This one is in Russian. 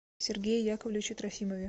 сергее яковлевиче трофимове